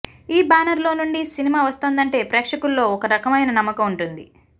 ఈ బ్యానర్ లో నుండి సినిమా వస్తోందంటే ప్రేక్షకుల్లో ఒక రకమైన నమ్మకం ఉంటుంది